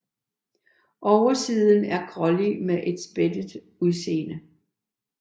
Oversiden er grålig med et spættet udseende